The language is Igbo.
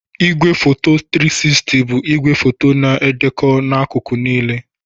Igwefoto 360 bụ igwefoto na-edekọ n'akụkụ niile.